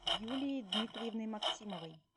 юлией дмитриевной максимовой